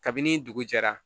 Kabini dugu jɛra